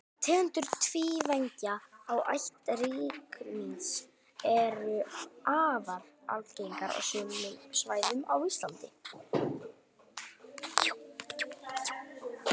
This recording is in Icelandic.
tegundir tvívængja af ætt rykmýs eru afar algengar á sumum svæðum á íslandi